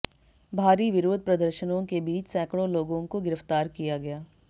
भारी विरोध प्रदर्शनों के बीच सैकड़ों लोगों को गिरफ्तार किया गया